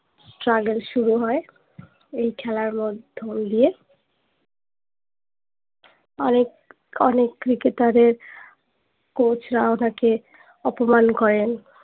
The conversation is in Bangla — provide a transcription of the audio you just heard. struggle শুরু হয়ে এই খেলার মধ্য দিয়ে অনেক অনেক cricketer এর coach রা ওনাকে অপমান করেন